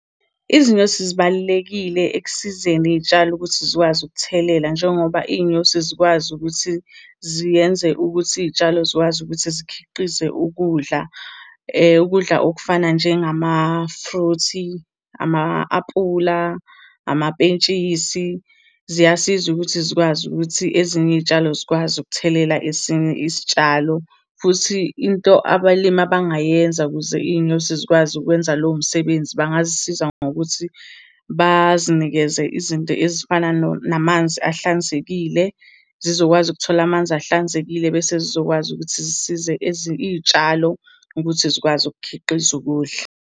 Izinyosi zibalulekile ekusizeni iy'tshalo ukuthi zikwazi ukuthelela, njengoba iy'nyosi zikwazi ukuthi ziyenze ukuthi iy'tshalo zikwazi ukuthi zikhiqize ukudla. Ukudla okufana njengamafruthi, ama-aphula, amapentshisi ziyasiza ukuthi zikwazi ukuthi ezinye iy'tshalo zikwazi ukuthelela esinye isitshalo. Futhi into abalimi abangayenza ukuze iy'nyosi zikwazi ukwenza lowo msebenzi, bangazisiza ngokuthi bazinikeze izinto ezifana namanzi ahlanzekile, zizokwazi ukuthola amanzi ahlanzekile bese zizokwazi ukuthi zisize iy'tshalo ukuthi zikwazi ukukhiqiza ukudla.